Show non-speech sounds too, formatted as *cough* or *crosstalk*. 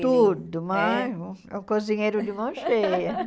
Tudo, mas é um cozinheiro de mão cheia. *laughs*